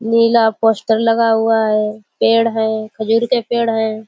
नीला poster लगा हुआ है। पेड़ है खजूर के पेड़ हैं।